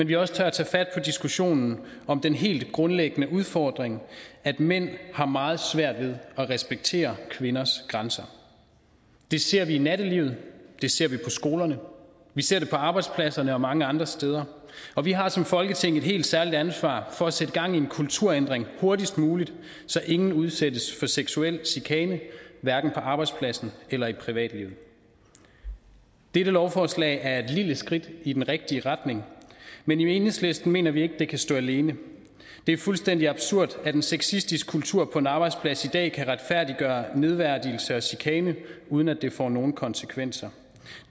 vi også tør tage fat på diskussionen om den helt grundlæggende udfordring at mænd har meget svært ved at respektere kvinders grænser det ser vi i nattelivet det ser vi på skolerne vi ser det på arbejdspladserne og mange andre steder og vi har som folketing et helt særligt ansvar for at sætte gang i en kulturændring hurtigst muligt så ingen udsættes for seksuel chikane hverken på arbejdspladsen eller i privatlivet dette lovforslag er et lille skridt i den rigtige retning men i enhedslisten mener vi ikke det kan stå alene det er fuldstændig absurd at en sexistisk kultur på en arbejdsplads i dag kan retfærdiggøre nedværdigelse og chikane uden at det får nogen konsekvenser